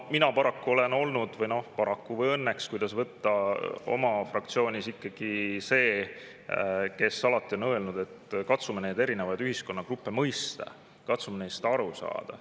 Mina paraku olen olnud – paraku või õnneks, kuidas võtta – oma fraktsioonis ikkagi see, kes on alati öelnud, et katsume erinevaid ühiskonnagruppe mõista, katsume neist aru saada.